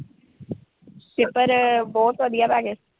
paper ਬਹੁਤ ਵਧੀਆ ਰਹਿਗੇ।